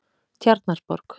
Tjarnarborg